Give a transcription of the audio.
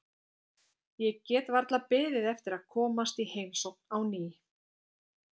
Ég get varla beðið eftir að komast í heimsókn á ný.